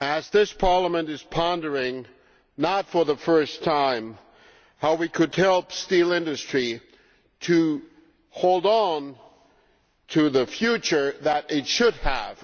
This Parliament is pondering not for the first time how we could help the steel industry to hold on to the future that it should have.